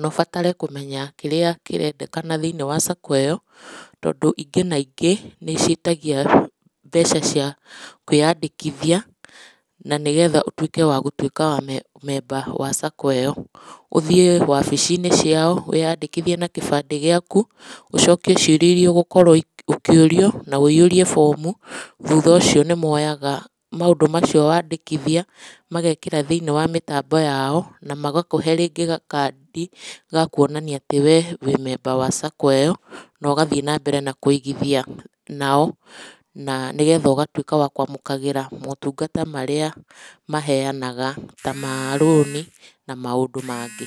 na ũbatare kũmenya kĩrĩa kĩrendekana thĩinĩ wa sacco ĩyo, tondũ ingĩ na ingĩ nĩ ciĩtagia mbeca cia kũĩyandĩkithia, na nĩgetha ũtuĩke wa gũtuĩka member wa sacco ĩyo. Ũthiĩ wabici-inĩ ciao wiyadikĩthiĩ na gĩbandĩ giaku, ũcokie ciũria ĩria ũgũkorwo ũkĩũrio, na ũihũrie bomu. Thutha ũcio nĩ moyaga maũndũ macio wandĩkithia, magekĩra thĩinĩ wa mũtambo yao, na magakũre rĩngĩ gakandi gakuonania atĩ wĩ-memba wa sacco ĩyo na ũgathiĩ nambere na kũigĩthia nao. Na nĩgetha ũgatũĩka wa kũamũkagĩra motungata maria maheyanaga ta ma-rũni na maũndũ mangĩ.